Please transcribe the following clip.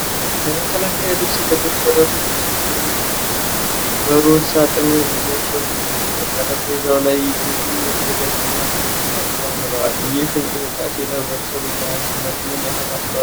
የመከላከያ ልብስ የለበሱ ሠራተኞች የሕክምና ማስኮችን በሮዝ ሳጥኖች እያሸጉ ነው። በጠረጴዛው ላይ ብዙ የተዘጋጁ ማስኮች ተከምረዋል። ይህ እንቅስቃሴ ለኅብረተሰቡ የጤና ደኅንነት ምን ያህል አስተዋፅዖ አለው?